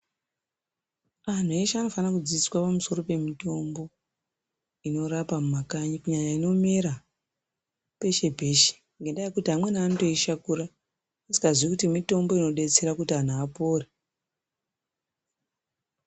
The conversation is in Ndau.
Antu eshe anofana kudzidziswa pamusoro pemutombo inorapa mumakanyi kunyanya inomera peshe peshe ngekuti amweni anotoishakura asingaziyi kuti mutombo inodetsera kuti antu apore.